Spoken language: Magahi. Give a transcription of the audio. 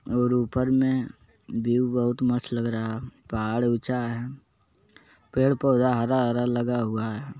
और ऊपर में व्यू बहुत मस्त लग रहा है पहाड़ उचा है। पेड़-पौधा हर हर लगा हुआ है ।